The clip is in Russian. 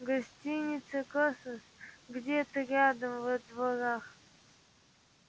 гостиница космос где-то рядом во дворах